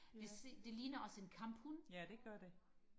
det det ligner også en kamphund